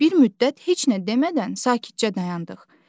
Bir müddət heç nə demədən sakitcə dayandıq.